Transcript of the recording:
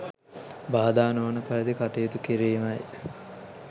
බාධා නොවන පරිදි කටයුතු කිරිමයි.